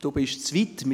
Sie sind zu weit.